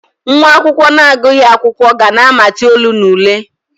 Nwa akwụkwọ na-agụghị akwụkwọ, ga na-amati olu na ule.